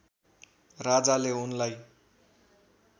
राजाले उनलाई